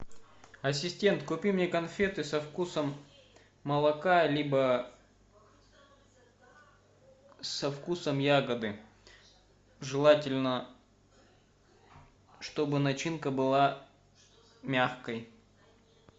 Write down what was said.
ассистент купи мне конфеты со вкусом молока либо со вкусом ягоды желательно чтобы начинка была мягкой